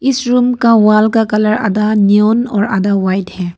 इस रूम का वॉल का कलर आधा नियॉन और आधा व्हाइट है।